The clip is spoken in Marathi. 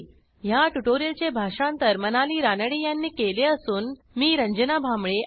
ह्या ट्युटोरियलचे भाषांतर मनाली रानडे यांनी केले असून मी आपला निरोप घेते160